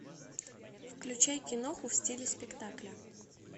включай киноху в стиле спектакля